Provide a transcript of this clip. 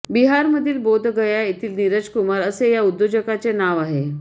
बिहारमधील बोधगया येथील नीरज कुमार असे या उद्योजकाचे नाव आहे